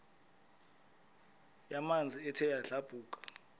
yamanzi ethe yadlabhuka